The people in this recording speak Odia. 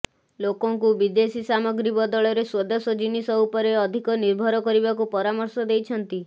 ଲୋକଙ୍କୁ ବିଦେଶୀ ସାମଗ୍ରୀ ବଦଳରେ ସ୍ୱଦେଶ ଜିନିଷ ଉପରେ ଅଧିକ ନିର୍ଭର କରିବାକୁ ପରାମର୍ଶ ଦେଇଛନ୍ତି